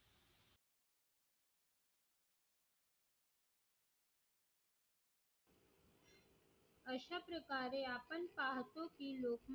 अशा प्रकारे आपण पाहतो की लोक